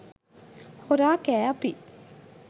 හොරා කෑ අපි